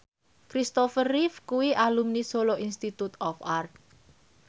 Christopher Reeve kuwi alumni Solo Institute of Art